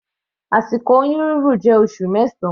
Àsìkò oyún rírùn jẹ́ oṣù mẹsan.